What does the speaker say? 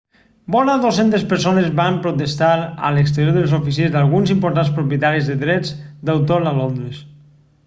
vora 200 persones van protestar a l'exterior de les oficines d'alguns importants propietaris de drets d'autor a londres